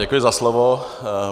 Děkuji za slovo.